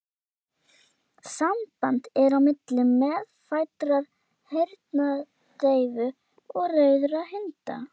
Samband er á milli meðfæddrar heyrnardeyfu og rauðra hunda.